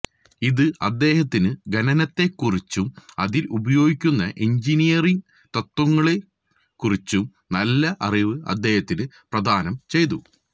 ഇത് അദ്ദേഹത്തിനു ഖനനത്തെക്കുറിച്ചും അതിൽ ഉപയോഗിക്കുന്ന എഞ്ചിനീയറിങ് തത്വങ്ങളെക്കു റിച്ചും നല്ല അറിവ് അദ്ദേഹത്തിനു പ്രദാനം ചെയ്തു